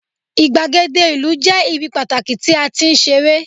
igbagede ìlú je ibi pataki ti a ti n sere